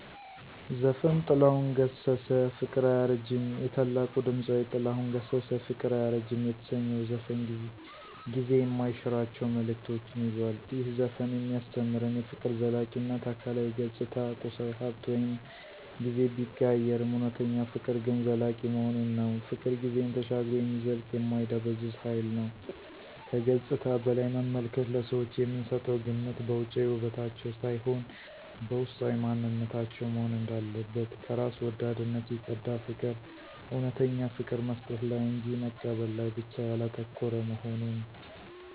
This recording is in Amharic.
ዘፈን - ጥላሁን ገሠሠ - 'ፍቅር አያረጅም' የታላቁ ድምፃዊ ጥላሁን ገሠሠ “ፍቅር አያረጅም” የተሰኘው ዘፈን ጊዜ የማይሽራቸው መልዕክቶችን ይዟል። ይህ ዘፈን የሚያስተምረን -* የፍቅር ዘላቂነት: አካላዊ ገጽታ፣ ቁሳዊ ሃብት ወይም ጊዜ ቢቀያየርም፣ እውነተኛ ፍቅር ግን ዘላቂ መሆኑን ነው። ፍቅር ጊዜን ተሻግሮ የሚዘልቅ የማይደበዝዝ ሃይል ነው። * ከገጽታ በላይ መመልከት: ለሰዎች የምንሰጠው ግምት በውጫዊ ውበታቸው ሳይሆን፣ በውስጣዊ ማንነታቸው መሆን እንዳለበት። * ከራስ ወዳድነት የፀዳ ፍቅር: እውነተኛ ፍቅር መስጠት ላይ እንጂ መቀበል ላይ ብቻ ያላተኮረ መሆኑን።